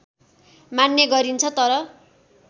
मान्ने गरिन्छ तर